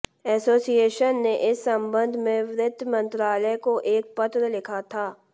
association ने इस संबंध में वित्त मंत्रालय को एक पत्र लिखा था